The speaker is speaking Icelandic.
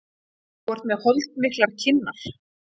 Þú ert með holdmiklar kinnar.